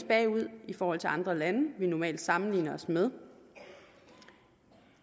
bagud i forhold til andre lande vi normalt sammenligner os med